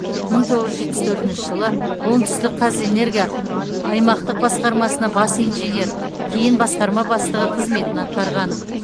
мың тоғыз жүз жетпіс төртінші жылы оңтүстікқазэнерго аймақтық басқармасына бас инженер кейін басқарма бастығы қызметін атқарған